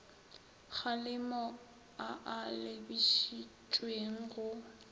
kgalemo a a lebišitšweng go